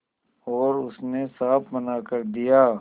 और उसने साफ मना कर दिया